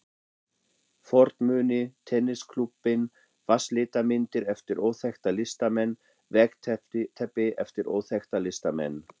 fornmuni, tennisklúbbinn, vatnslitamyndir eftir óþekkta listamenn, veggteppi eftir óþekkta listamenn.